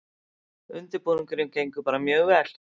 Undirbúningurinn gengur bara mjög vel